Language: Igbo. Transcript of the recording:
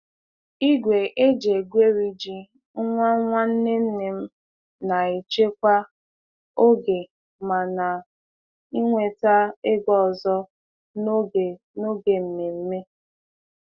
Igwe e ji egweri ji nwa nwanne nne m na-echekwa oge ma na-enweta ego ọzọ n'oge n'oge ememme.